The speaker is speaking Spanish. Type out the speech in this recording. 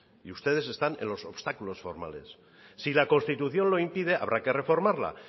y ustedes están en los obstáculos formales si la constitución lo impide habrá que reformarla